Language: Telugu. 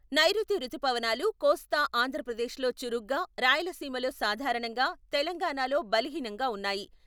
నైరుతి రుతుపవనాలు కోస్తా ఆంధ్రప్రదేశ్ లో చురుగ్గా, రాయలసీమలో సాధారణంగా, తెలంగాణలో బలహీనంగా ఉన్నాయి.